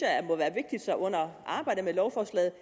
at det under arbejdet med lovforslaget